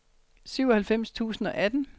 syvoghalvfems tusind og atten